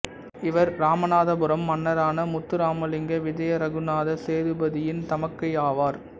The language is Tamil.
இவர் இராமநாதபுரம் மன்னரான முத்துஇராமலிங்க விஜய ரகுநாத சேதுபதியின் தமக்கை ஆவார்